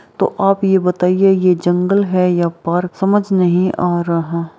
तो आप ये बताइए ये जंगल है या पार्क समझ नहीं आ रहा।